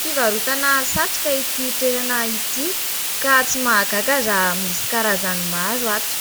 Fivarotana satroka ity toerana ity ka tsy mahagaga raha misy karazany maro ato :